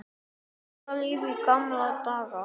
Meira líf í gamla daga?